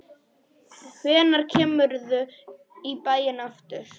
Hvenær kemurðu í bæinn aftur?